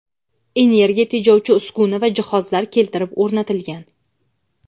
energiya tejovchi uskuna va jihozlar keltirib o‘rnatilgan.